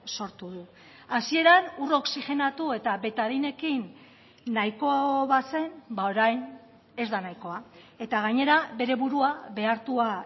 sortu du hasieran ur oxigenatu eta betadinekin nahiko bazen orain ez da nahikoa eta gainera bere burua behartua